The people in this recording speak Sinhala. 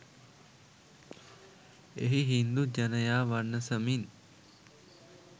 එහි හින්දු ජනයා වනසමින්